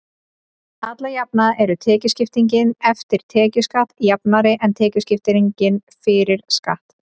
alla jafna er tekjuskiptingin „eftir tekjuskatt“ jafnari en tekjuskipting „fyrir skatt“